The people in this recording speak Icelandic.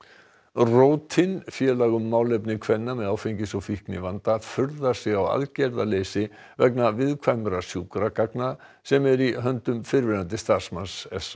rótin félag um málefni kvenna með áfengis og fíknivanda furðar sig á aðgerðaleysi vegna viðkvæmra sjúkragagna sem eru í höndum fyrrverandi starfsmanns s